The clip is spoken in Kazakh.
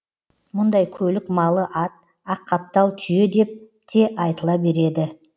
мұндай көлік малы ат аққаптал түйе деп те айтыла береді